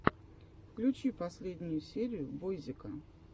включи последнюю серию бойзика